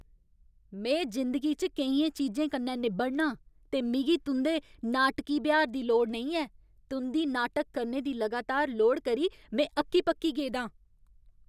में जिंदगी च केइयें चीजें कन्नै निब्बड़नां ते मिगी तुं'दे नाटकी ब्यहार दी लोड़ नेईं ऐ। तुं'दी नाटक करने दी लगातार लोड़ करी में अक्की पक्की गेदा आं।